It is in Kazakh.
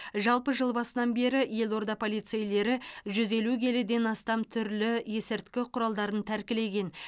жалпы жыл басынан бері елорда полицейлері жүз елу келіден астам түрлі есірткі құралдарын тәркілеген